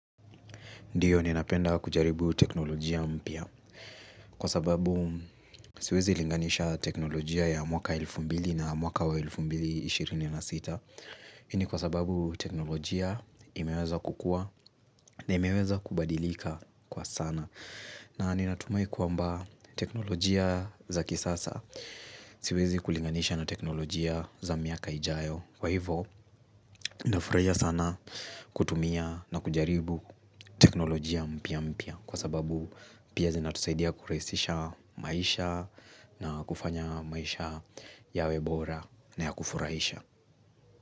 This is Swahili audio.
Ndiyo ninapenda kujaribu teknolojia mpya. Kwa sababu siwezi linganisha teknolojia ya mwaka elfu mbili na mwaka wa elfu mbili ishirini na sita, hii ni kwa sababu teknolojia imeweza kukua na imeweza kubadilika kwa sana na ninatumai kwamba teknolojia za kisasa Siwezi kulinganisha na teknolojia za miaka ijayo. Kwa hivyo, nitafurahia sana kutumia na kujaribu teknolojia mpya mpya kwa sababu pia zinatusaidia kurahisisha maisha na kufanya maisha yawe bora na ya kufurahisha.